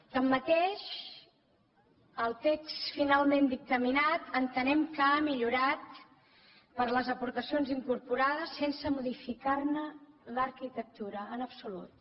tanmateix el text finalment dictaminat entenem que ha millorat per les aportacions incorporades sense modificar ne l’arquitectura en absolut